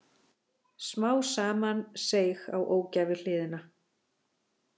Smá saman seig á ógæfuhliðina.